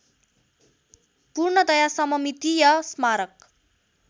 पूर्णतया सममितीय स्मारक